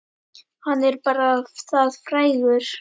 Hann er bara það frægur.